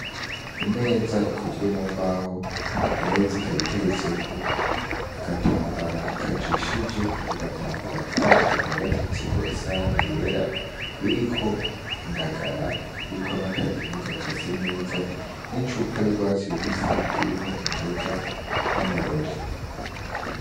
Imeza ikozwe mu mbaho, iyo meza ikaba iteretseko agatambara kajishije, ako gatambara kandi kakaba gateretseko isahani yera iriko indagara, iriko n'akadimu gakase neza n'icupa ry'urwatsi rubisi irimwo inzoga n'amarori.